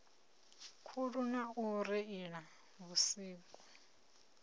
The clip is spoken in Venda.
khuli na u reila vhusiku